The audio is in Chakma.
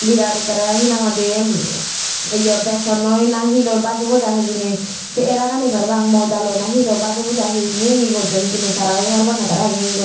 birat ekkere hinahoidi yo besonnoi na hi loi baje bujai hijeni se era gani parapang moidaloi na hi loi baje bujai hingi hingi gosson hijeni tarayo hobor panne tara hingi hingi gos.